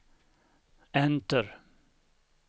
enter